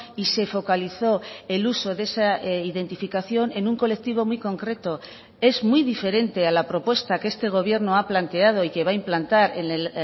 y se focalizó el uso de esa identificación en un colectivo muy concreto es muy diferente a la propuesta que este gobierno ha planteado y que va a implantar en el